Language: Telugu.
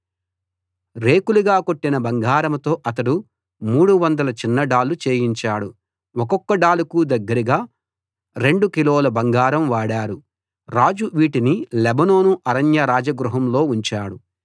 రేకులుగా కొట్టిన బంగారంతో అతడు 300 చిన్న డాళ్ళు చేయించాడు ఒక్కొక్క డాలుకు దగ్గరగా రొండు కిలోల బంగారం వాడారు రాజు వీటిని లెబానోను అరణ్య రాజగృహంలో ఉంచాడు